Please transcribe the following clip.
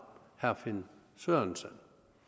herre finn sørensen